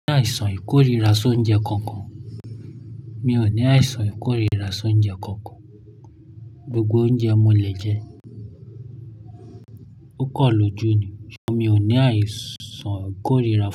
Mi ò ní àìsàn ìkórìíra sóńjẹ kankan. Mi ò ní àìsàn ìkórìíra sóńjẹ kankan. Gbogbo oúnjẹ mo lè jẹ. Ó kọ̀ lójú ni. Ṣọ mí ò ní àìsàn ìkórìíra fún.